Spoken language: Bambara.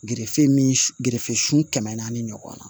min gerefesun kɛmɛ naani ɲɔgɔnna